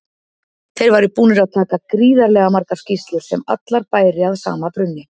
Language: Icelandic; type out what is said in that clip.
Þeir væru búnir að taka gríðarlega margar skýrslur sem allar bæri að sama brunni.